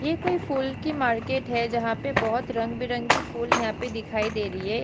यह कोई फूल की मार्केट है जहाँ पे बोहत रंग बिरंगा फुल यहाँ पे दिखाई दे रही हैं ।